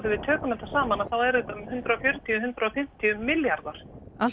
við tökum þetta saman þá er þetta um hundrað og fjörutíu til hundrað og fimmtíu milljarðar